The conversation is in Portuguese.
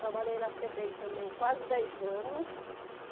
Trabalhei na Febem também quase dez anos.